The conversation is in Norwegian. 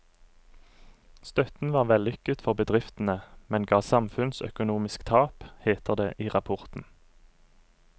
Støtten var vellykket for bedriftene, men ga samfunnsøkonomisk tap, heter det i rapporten.